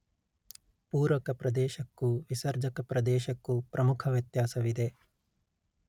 ಪೂರಕ ಪ್ರದೇಶಕ್ಕೂ ವಿಸರ್ಜಕ ಪ್ರದೇಶಕ್ಕೂ ಪ್ರಮುಖ ವ್ಯತ್ಯಾಸವಿದೆ